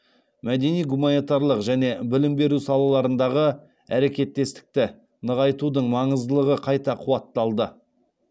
мәдени гуманитарлық және білім беру салаларындағы әрекеттестікті нығайтудың маңыздылығы қайта қуатталды